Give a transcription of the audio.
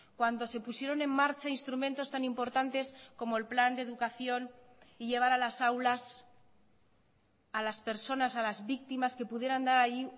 cuando se pusieron en marcha instrumentos tan importantes como el plan de educación y llevar a las aulas a las personas a las víctimas que pudieran dar ahí